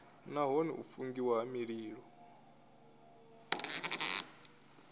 nahone u fungiwa ha mililo